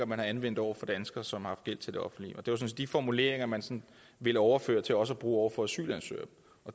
man anvender over for danskere som har gæld til det offentlige det var de formuleringer man sådan ville overføre til også at bruge over for asylansøgere